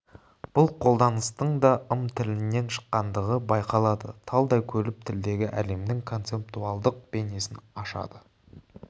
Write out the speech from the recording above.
бұл қолданыстың да ым тіліннен шыққандығы байқалады талдай келіп тілдегі әлемнің концептуалдық бейнесін ашады